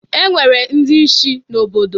E nwere ndi ishi n'obodo.